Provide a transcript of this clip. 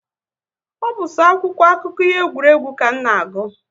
Ọ bụ so akwụkwọ akụkọ ihe egwuregwu ka m na-agụ